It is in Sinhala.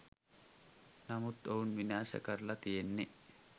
නමුත් ඔවුන් විනාශ කරලා තියෙන්නේ